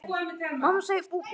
Og þá komst þú.